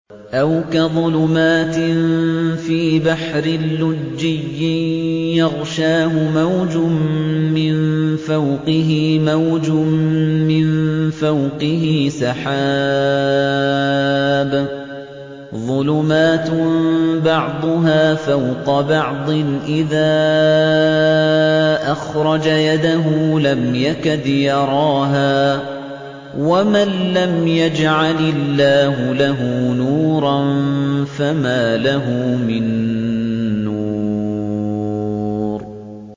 أَوْ كَظُلُمَاتٍ فِي بَحْرٍ لُّجِّيٍّ يَغْشَاهُ مَوْجٌ مِّن فَوْقِهِ مَوْجٌ مِّن فَوْقِهِ سَحَابٌ ۚ ظُلُمَاتٌ بَعْضُهَا فَوْقَ بَعْضٍ إِذَا أَخْرَجَ يَدَهُ لَمْ يَكَدْ يَرَاهَا ۗ وَمَن لَّمْ يَجْعَلِ اللَّهُ لَهُ نُورًا فَمَا لَهُ مِن نُّورٍ